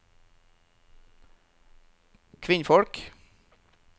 kvinnfolk